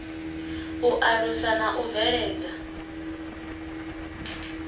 u alusa na u bveledza